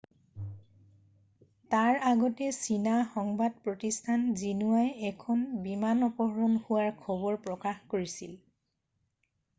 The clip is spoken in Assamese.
তাৰ আগতে চীনা সংবাদ প্ৰতিষ্ঠান জিনোৱাই এখন বিমান অপহৰণ হোৱাৰ খবৰ প্ৰকাশ কৰিছিল।